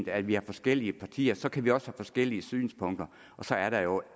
at vi har forskellige partier så kan vi også have forskellige synspunkter og så er der jo